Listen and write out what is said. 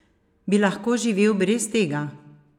Bi lahko živel brez tega?